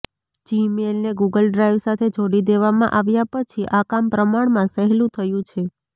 જીમેઇલને Google Drive સાથે જોડી દેવામાં આવ્યા પછી આ કામ પ્રમાણમાં સહેલું થયું છે